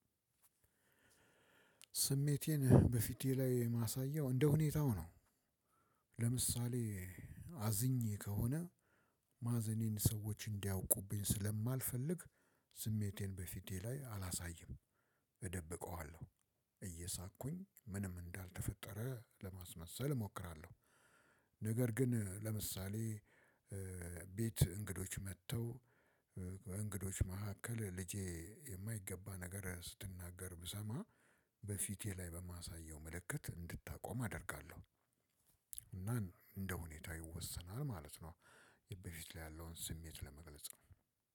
ስሜቴን በፊቴ ላይ ማሳያው እንደሁኔታው ነው። ለምሳሌ አዝኜ ከሆነ ማዘኔን ሰዎች እንዲያውቁብኝ ስለማልፈልግ ስሜቴን በፊቴ ላይ አላሳይም። እደብቀዋለሁ። እየሳቅኩኝ ምንም እንዳልተፈጠረ ለማስመሰል እሞክራለሁ። ነገር ግን ለምሳሌ ቤት እንግዶች መጥተው እንግዶች መካከል ልጄ የማይገባ ነገር ስትናገር ብሰማ በፊቴ ላይ በማሳየው ምልክት እንድታቆም አደርጋለሁ። እና እንደሁኔታው ይወሰናል ማለት ነው። በፊት ላይ ያለውን ስሜት ለመግለጽ ነው